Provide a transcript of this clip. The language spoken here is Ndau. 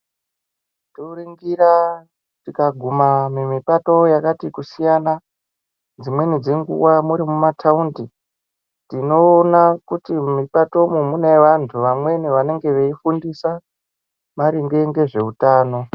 Toringira tikaguma mumipato yakati kusiyana. Dzimweni dzinguvs muri mumathawundi, tinowona kuti mumipato umu munevanhu. Vamweni vange veyifundisa maringe ngezvehutano.